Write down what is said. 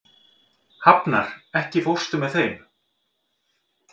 Hafnar, ekki fórstu með þeim?